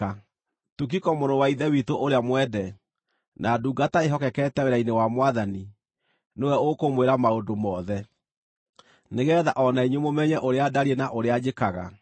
Tukiko, mũrũ wa Ithe witũ ũrĩa mwende na ndungata ĩĩhokekete wĩra-inĩ wa Mwathani, nĩwe ũkũmwĩra maũndũ mothe, nĩgeetha o na inyuĩ mũmenye ũrĩa ndariĩ na ũrĩa njĩkaga.